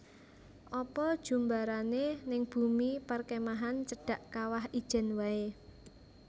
Apa jumbarane ning bumi perkemahan cedhak Kawah Ijen wae